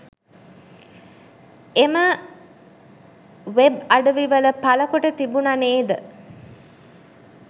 එම වබේ අඩවිවල පළකොට තිබුණ නේද?